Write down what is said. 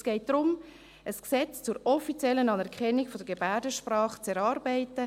Es geht darum, ein Gesetz zur offiziellen Anerkennung der Gebärdensprache zu erarbeiten.